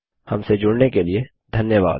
हमसे जुड़ने के लिए धन्यवाद